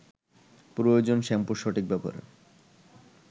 প্রয়োজন শ্যাম্পুর সঠিক ব্যবহার